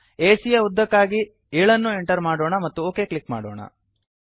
ಎಸಿಯ ಯ ಉದ್ದಕ್ಕಾಗಿ 7 ಅನ್ನು ಎಂಟರ್ ಮಾಡೋಣ ಮತ್ತು ಒಕ್ ಕ್ಲಿಕ್ ಮಾಡೋಣ